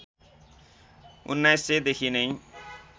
१९०० देखि नै